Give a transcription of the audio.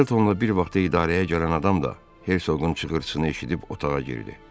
Telefonla bir vaxtı idarəyə gələn adam da Hersoqun çığırtısını eşidib otağa girdi.